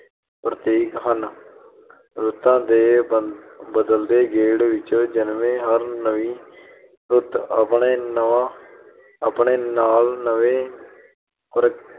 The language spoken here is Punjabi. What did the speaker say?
ਪ੍ਰਤੀਕ ਹਨ, ਰੁੱਤਾਂ ਦੇ ਬਦਲਦੇ ਗੇੜ ਵਿੱਚੋਂ ਜਨਮੇਂ ਹਨ। ਹਰ ਨਵੀਂ ਰੁੱਤ ਆਪਣੇ ਨਾਲ ਅਹ ਨਵੇਂ ਪ੍ਰ